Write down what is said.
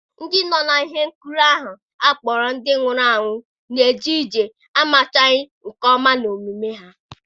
Ndị nọ na ihe nkiri ahụ akpọrọ Ndị Nwụrụ Anwụ Na-eje ije amachaghị nke ọma n'omume ha.